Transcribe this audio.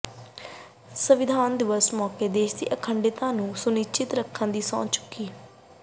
ਸੰਵਿਧਾਨ ਦਿਵਸ ਮੌਕੇ ਦੇਸ਼ ਦੀ ਅਖੰਡਤਾ ਨੂੰ ਸੁਨਿਸ਼ਚਿਤ ਰੱਖਣ ਦੀ ਚੁੱਕੀ ਸੰਹੁ